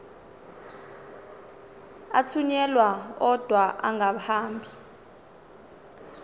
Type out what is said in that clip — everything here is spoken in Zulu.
athunyelwa odwa angahambi